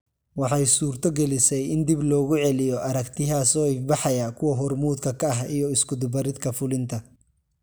Waxay suurtogelisay in dib loogu celiyo aragtiyaha soo ifbaxaya kuwa hormuudka ka ah iyo isku dubaridka fulinta.